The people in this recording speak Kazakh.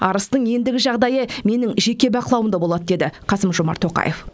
арыстың ендігі жағдайы менің жеке бақылауымда болады деді қасым жомарт тоқаев